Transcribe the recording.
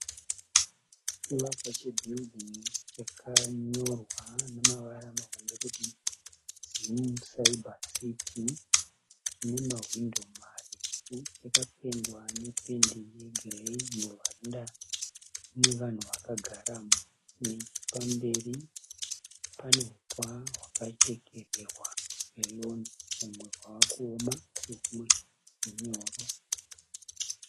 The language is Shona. Chivakwa che(building) chakanyorwa nemavara mahombe kuti ZIM CYBER CITY. Chine mahwindo marefu. Chakapendwa nependi rwegirei. Muruhwanda mune vanhu vakagaramo. Nechepamberi pane huswa hwakachekererwa rweroni humwe hwaakuoma asi humwe hunyoro.